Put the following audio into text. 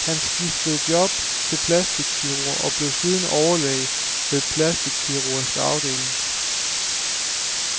Han skiftede job til plastikkirurg og blev siden overlæge ved plastikkirurgisk afdeling.